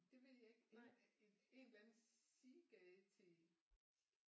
Det ved jeg ikke en eller anden sidegade til